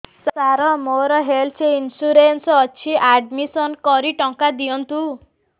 ସାର ମୋର health insurance ଅଛି admission କରି ଟଙ୍କା ଦିଅନ୍ତୁ